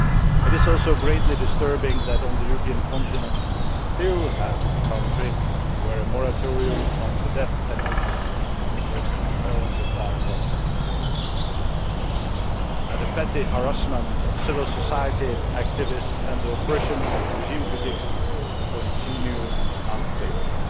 It is also greatly disturbing that on the European continent we still have a country where a moratorium on the death penalty is apparently far away. And the petty harassment of civil society activists and the oppression of regime critics continue unabated.